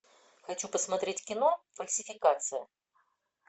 хочу посмотреть кино фальсификация